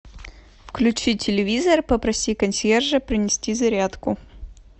включи телевизор попроси консьержа принести зарядку